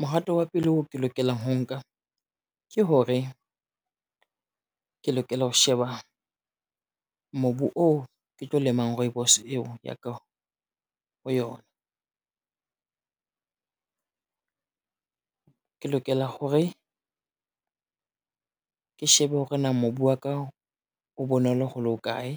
Mohato wa pele oo ke lokelang ho nka ke hore, ke lokela ho sheba mobu oo ke tlo lemang rooibos eo ya ka ho yona. Ke lokela hore, ke shebe hore na mobu wa ka o bonolo ho le ho kae.